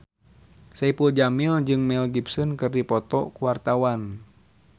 Saipul Jamil jeung Mel Gibson keur dipoto ku wartawan